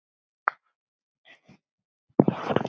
Við megum það ekki.